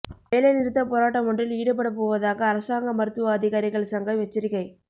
வேலை நிறுத்தப் போராட்டமொன்றில் ஈடுபடப் போவதாக அரசாங்க மருத்துவ அதிகாரிகள் சங்கம் எச்சரிக்கை